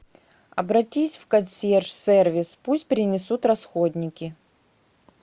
обратись в консьерж сервис пусть принесут расходники